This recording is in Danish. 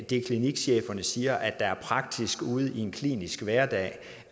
det klinikcheferne siger er praktisk ude i en klinisk hverdag